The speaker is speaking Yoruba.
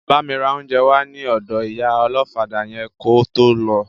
Bámi ra oúnjẹ wá ní ọ̀dọ ìyá ọlọ́fadà yẹn kó tó lọ